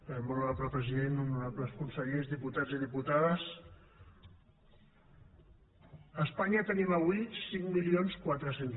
molt honorable president honorables consellers diputats i diputades a espanya tenim avui cinc mil quatre cents